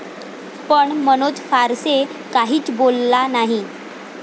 पण मनोज फारसे काहीच बोलला नाही.